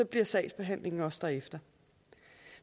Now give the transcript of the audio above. bliver sagsbehandlingen også derefter